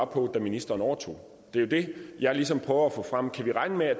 på da ministeren overtog det er jo det jeg ligesom prøver at få frem kan vi regne med at